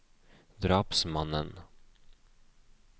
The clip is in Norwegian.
drapsmannen